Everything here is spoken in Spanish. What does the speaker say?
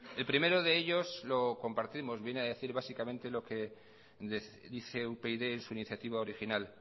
el primero de ellos lo compartimos viene a decir básicamente lo que les dice upyd en su iniciativa original